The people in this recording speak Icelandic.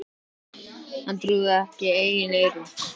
Hann trúði ekki eigin eyrum.